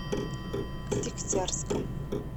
дегтярском